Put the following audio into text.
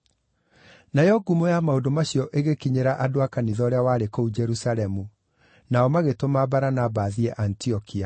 Nayo ngumo ya maũndũ macio igĩkinyĩra andũ a kanitha ũrĩa warĩ kũu Jerusalemu; nao magĩtũma Baranaba athiĩ Antiokia.